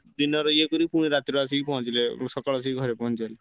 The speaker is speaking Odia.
ଦିନ ରେ ଇଏ କରିକି ରାତିରେ ଆସିକି ପହଁଚିଲେ ମୁଁ ସକାଳେ ଆସିକି ଘରେ ପହଁଞ୍ଚି ଯାଏ।